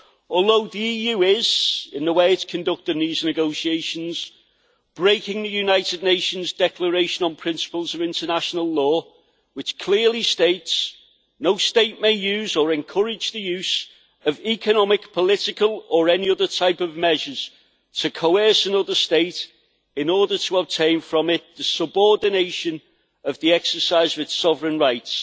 Although the EU is, in the way it is conducting these negotiations, breaking the United Nations Declaration on Principles of International Law, which clearly states that no state may use or encourage the use of economic, political or any other type of measures to coerce another state in order to obtain from it the subordination of the exercise of its sovereign rights